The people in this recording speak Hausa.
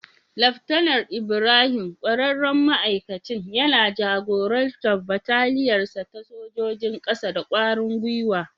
Laftanar Ibrahim, ƙwararren ma'aikacin, yana jagorantar bataliyar sa ta sojojin kasa da ƙwarin gwiwa.